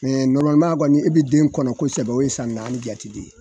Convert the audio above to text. De nɔrɔmaliman, e bɛ den kɔnɔ kosɛbɛ o ye san naani jate de ye.